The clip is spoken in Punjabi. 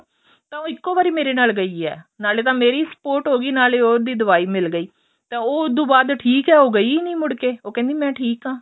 ਤਾਂ ਉਹ ਇੱਕੋ ਵਾਰੀ ਮੇਰੇ ਨਾਲ ਗਈ ਏ ਨਾਲੇ ਤਾਂ ਮੇਰੀ sport ਹੋ ਗਈ ਨਾਲੇ ਉਹਦੀ ਦਵਾਈ ਮਿਲ ਗਈ ਤੇ ਉਹ ਉਹਤੋਂ ਬਾਅਦ ਠੀਕ ਏ ਉਹ ਗਈ ਨੀ ਮੁੜ ਕੇ ਉਹ ਕਹਿੰਦੀ ਮੇ ਠੀਕ ਆਂ